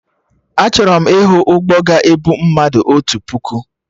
Achọrọ m ịhụ ụgbọ ga-ebu mmadụ otu puku